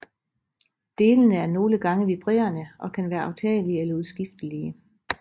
Delene er nogle gange vibrerende og kan være aftagelige eller udskiftelige